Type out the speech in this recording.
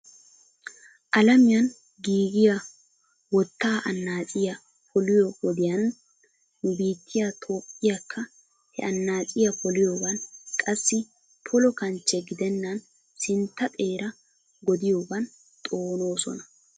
Alamiyaani giigiya wottaa anaaciya poliyo wodiyaani nu biityiya toophphiyaakka he annaaciya poliyogan, qassi polo kanchche gidenan sintta xeera godiyoogan xoonoosona.